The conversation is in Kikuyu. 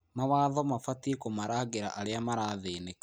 Mawatho mabatiĩ kũmarangĩra arĩa marathĩnĩka.